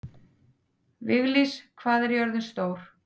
Viglís, hvað er jörðin stór?